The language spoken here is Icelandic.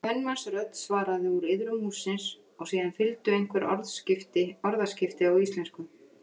Kvenmannsrödd svaraði úr iðrum hússins og síðan fylgdu einhver orðaskipti á íslensku.